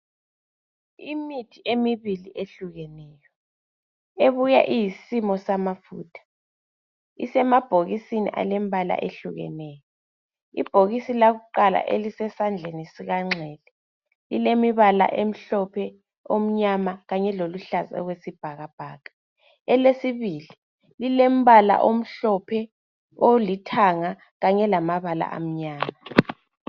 Imithi emibili ehlukeneyo ebuya iyisimo samafutha isemabhokisini alembala ehlukeneyo. Ibhokisi lakuqala elisesandleni sikanxele lilemibala emhlophe, omnyama kanye loluhlaza okwesibhakabhaka, elesibili lilembala omhlophe, olithanga kanye lamabala amnyama.